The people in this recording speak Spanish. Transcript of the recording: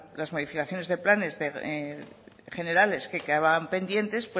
la modificaciones de planes generales que estaban pendientes